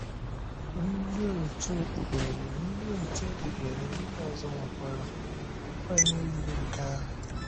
Ndị òtù okpukpere Ndị òtù okpukpere ndị ọzọ nwekwara nkwenye yiri nke ahụ.